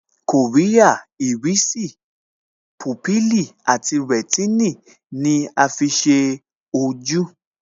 Kòríà, Ìrísì, púpìlì àti rẹ̀tínì ni a fi ṣe ojú